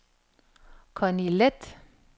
Connie Leth